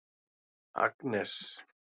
Agnes